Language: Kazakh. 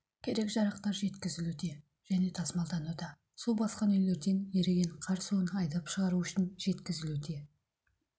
керек жарақтар жеткізілуде және тасмалдануда су басқан үйлерден еріген қар суын айдап шығару үшін жеткізілуде